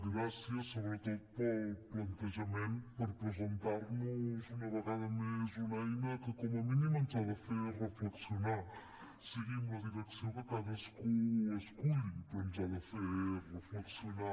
gràcies sobretot pel plantejament per presentar nos una vegada més una eina que com a mínim ens ha de fer reflexionar sigui amb la direcció que cadascú esculli però ens ha de fer reflexionar